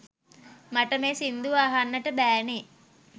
මට මේ සිංදුව අහන්ට බෑනේ